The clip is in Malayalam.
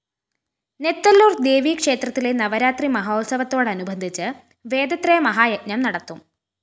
നെത്തല്ലൂര്‍ ദേവീക്ഷേത്രത്തിലെ നവരാത്രി മഹോത്സവത്തോടനുബന്ധിച്ച് വേദത്രയ മഹായജ്ഞം നടത്തും